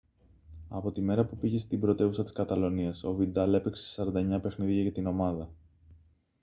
από τη μέρα που πήγε στην πρωτεύουσα της καταλονίας ο βιντάλ έπαιξε σε 49 παιχνίδια για την ομάδα